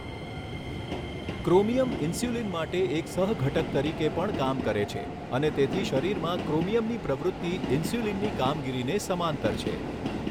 Chromium insulin માટે એક સહઘટક તરીકે પણ કામ કરે છે અને તેથી શરીરમાં ક્રોમિયમની પ્રવૃત્તિ ઇન્સ્યુલિનની કામગીરીને સમાંતર છે.